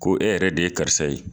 Ko e yɛrɛ de ye karisa ye